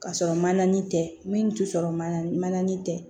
Ka sɔrɔ manani tɛ min tɛ sɔrɔ mananin tɛ